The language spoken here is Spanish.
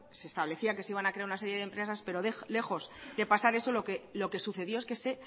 se establecía que se iban a crear una serie de empresas pero lejos de pasar eso lo que sucedió es que se